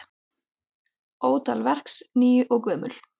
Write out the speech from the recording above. Ótal verks ný og gömul.